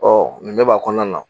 Ɔ negɛ b'a kɔnɔna na.